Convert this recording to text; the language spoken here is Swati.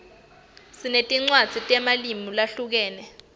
sinetinwadzi temalimu lahlukene